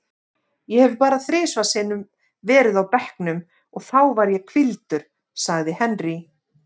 Ég hef bara þrisvar sinnum verið á bekknum og þá var ég hvíldur, sagði Henry.